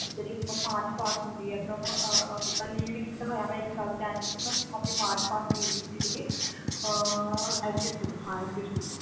ਜਿਹੜੀ march past ਹੁੰਦੀ ਆ ਫਿਰ ਓਹਨੂੰ lead ਕੀਤਾ ਹੋਇਆ ਮੈਂ ਇਕ ਸਾਲ ਮੈਂ ਆਪਣੀ march past ਕੀਤੀ ਸੀ lead S D ਸਕੂਲ